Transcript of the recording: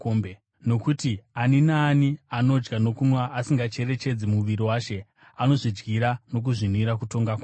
Nokuti ani naani anodya nokunwa asingacherechedzi muviri waShe anozvidyira nokuzvinwira kutongwa kwake.